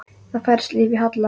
Það færðist líf í Halla.